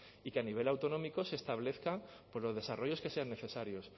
y que a nivel autonómico se establezca por los desarrollos que sean necesarios